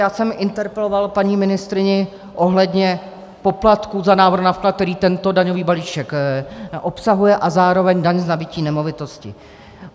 Já jsem interpeloval paní ministryni ohledně poplatku za návrh na vklad, který tento daňový balíček obsahuje, a zároveň daň z nabytí nemovitosti.